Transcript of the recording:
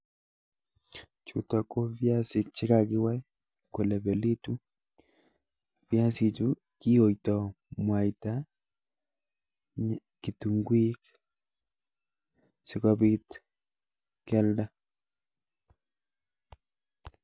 Chutok ko viasik chekekiwai kolepelitu. viasichu kiyoitoi mwaita ak kitunguik sikobik kialda.